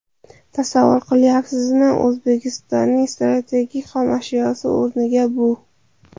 Tasavvur qilayapsizmi, O‘zbekistonning strategik xomashyosi o‘rniga bu.